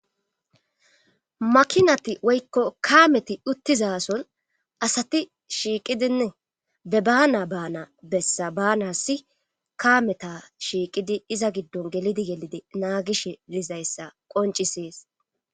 makinati woykko kaameti uttizason asati shiiqidinne be baana baana bessa baana si kaameta shiiqidi iza giddon gelidi yelide naagish dizayssa qoncisees